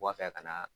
Wulafɛ ka na